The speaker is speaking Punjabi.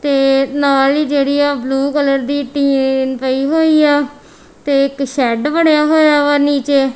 ਤੇ ਨਾਲ ਹੀ ਜਿਹੜੀ ਆ ਬਲੂ ਕਲਰ ਦੀ ਟੀਨ ਪਈ ਹੋਈ ਆ ਤੇ ਇੱਕ ਸ਼ੈਡ ਬਣਿਆ ਹੋਇਆ ਵਾ ਨੀਚੇ।